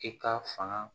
I ka fanga